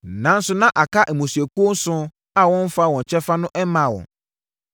Nanso, na aka mmusuakuo nson a wɔmfaa wɔn kyɛfa no mmaa wɔn.